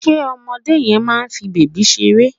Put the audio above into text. Ṣe ọmọdé yẹn máa fi bèbí ṣeré?